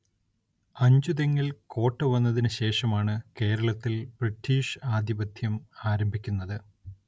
അഞ്ചുതെങ്ങിൽ കോട്ട വന്നതിനു ശേഷമാണു കേരളത്തിൽ ബ്രിട്ടീഷ്‌ ആധിപത്യം ആരംഭിക്കുന്നത്.